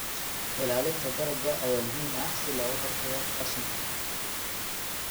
Ilaalinta dalagga ayaa muhiim ah si looga hortago qashinka.